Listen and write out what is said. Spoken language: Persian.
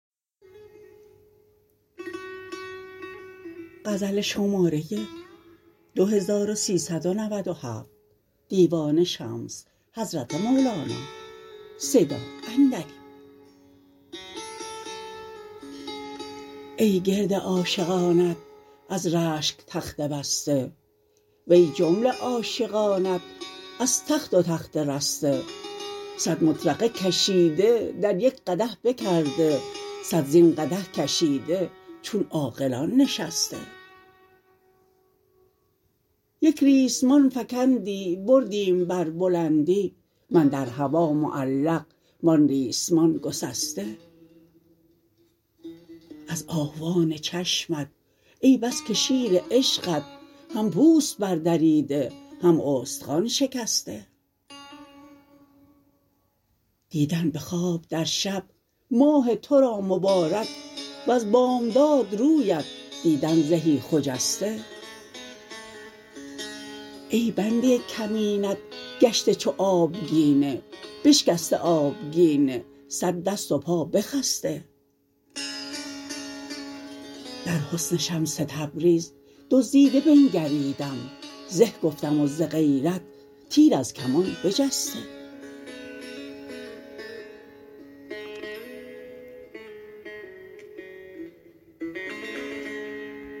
ای گرد عاشقانت از رشک تخته بسته وی جمله عاشقانت از تخت و تخته رسته صد مطرقه کشیده در یک قدح بکرده صد زین قدح کشیده چون عاقلان نشسته یک ریسمان فکندی بردیم بر بلندی من در هوا معلق و آن ریسمان گسسته از آهوان چشمت ای بس که شیر عشقت هم پوست بردریده هم استخوان شکسته دیدن به خواب در شب ماه تو را مبارک وز بامداد رویت دیدن زهی خجسته ای بنده کمینت گشته چو آبگینه بشکسته آبگینه صد دست و پا بخسته در حسن شمس تبریز دزدیده بنگریدم زه گفتم و ز غیرت تیر از کمان بجسته